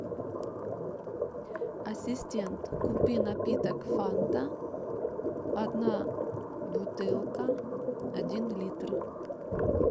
ассистент купи напиток фанта одна бутылка один литр